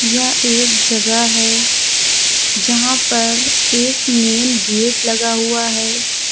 यह एक जगह है जहां पर एक मेंन गेट लगा हुआ है।